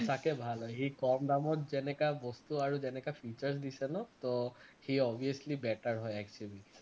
সঁচাকে ভাল হয় সি কম দামত যেনেকুৱা বস্তু আৰু যেনেকুৱা features দিছে ন তো সি obviously better হয় xuv তকৈ